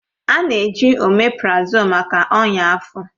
A na-eji oméprazolú maka ọnya afọ